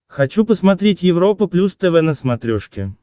хочу посмотреть европа плюс тв на смотрешке